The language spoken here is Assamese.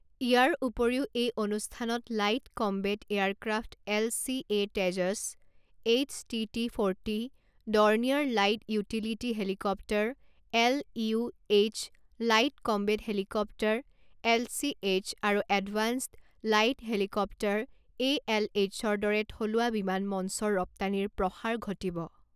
ইয়াৰ উপৰিও এই অনুষ্ঠানত light combat aircraft LCA Tejas, HT T forty, Dornier light utility helicopter LUH, light combat helicopter LCH আৰু এডভান্সড লাইট হেলিকপ্টাৰ এএলএইচৰ দৰে থলুৱা বিমান মঞ্চৰ ৰপ্তানিৰ প্ৰসাৰ ঘটিব।